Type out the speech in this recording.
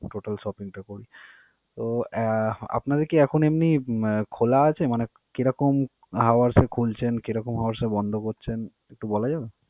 total shopping topping. তো আহ আপনাদের কি এখম এমনি খোলা আছে? মানে কি রকম hours এ খুলছেন, কেরকম hours এ বন্ধ করছেন একটু বলা যাবে?